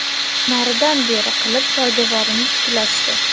Naridan beri qilib poydevorini tiklashdi.